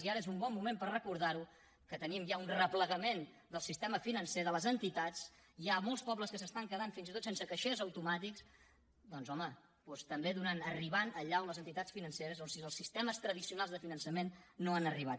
i ara és un bon moment per recordar ho que tenim ja un replegament del sistema financer de les entitats hi ha molts pobles que s’estan quedant fins i tot sense caixers automàtics doncs home també arribar allà on les entitats financeres on els sistemes tradicionals de finançament no han arribat